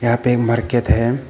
यहां पे एक मार्कित है।